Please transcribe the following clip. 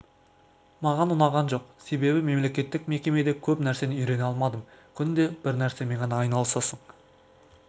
маған ұнаған жоқ себебі мемлекеттік мекемеде көп нәрсені үйрене алмадым күнде бір нәрсемен ғана айналысасың